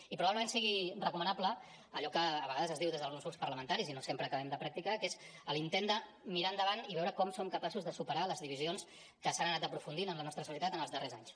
i probablement sigui recomanable allò que a vegades es diu des d’alguns grups parlamentaris i no sempre acabem de practicar que és l’intent de mirar endavant i veure com som capaços de superar les divisions que s’han anant aprofundint en la nostra societat en els darrers anys